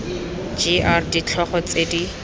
g r ditlhogo tse di